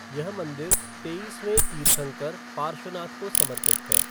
यह मंदिर तेईसवें तीर्थंकर पार्श्वनाथ को समर्पित है।